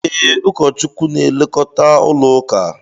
Ee, ụkọchukwu n'elekota ụlọ ụka